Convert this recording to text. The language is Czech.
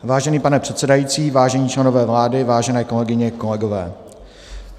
Vážený pane předsedající, vážení členové vlády, vážené kolegyně, kolegové.